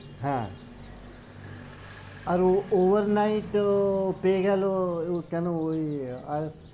হ্যাঁ আর ও over night ও পেয়েগেল কেন ওই আহ